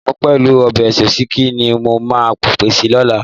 Sẹ̀mọ́ pẹ̀lú ọbẹ̀ òsíkí ni mo máa pèsè lọ́la.